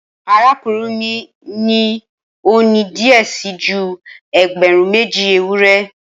Arakunrin mi ni o ni diẹ sii ju ẹgbẹrun meji ewurẹ